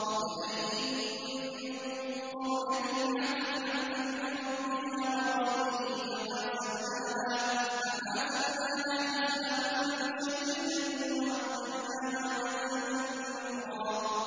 وَكَأَيِّن مِّن قَرْيَةٍ عَتَتْ عَنْ أَمْرِ رَبِّهَا وَرُسُلِهِ فَحَاسَبْنَاهَا حِسَابًا شَدِيدًا وَعَذَّبْنَاهَا عَذَابًا نُّكْرًا